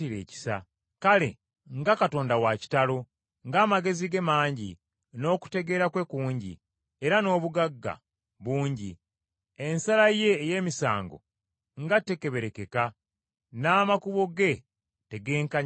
Kale nga Katonda wa kitalo, ng’amagezi ge mangi n’okutegeera kwe kungi era n’obugagga bungi; ensala ye ey’emisango nga tekeberekeka, n’amakubo ge tegekkaanyizika.